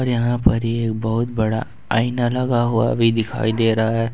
यहां पर ये बहुत बड़ा आईना लगा हुआ भी दिखाई दे रहा है।